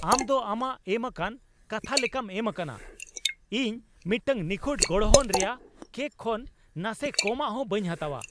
ᱟᱢ ᱫᱚ ᱟᱢᱟᱜ ᱮᱢᱟᱠᱟᱱ ᱠᱟᱛᱷᱟ ᱞᱮᱠᱟᱢ ᱮᱢ ᱟᱠᱟᱱᱟ ᱾ ᱤᱧ ᱢᱤᱫᱴᱟᱝ ᱱᱤᱠᱷᱩᱛ ᱜᱚᱲᱦᱚᱱ ᱨᱮᱭᱟᱜ ᱠᱮᱠ ᱠᱷᱚᱱ ᱱᱟᱥᱮ ᱠᱚᱢᱟᱜ ᱦᱚ ᱵᱟᱹᱧ ᱦᱟᱛᱟᱣᱟ ᱾